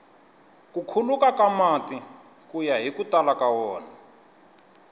ku khuluka ka mati kuya hiku tala ka wona